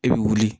I bɛ wuli